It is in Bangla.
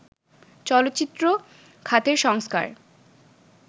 চলচ্চিত্র খাতের সংস্কার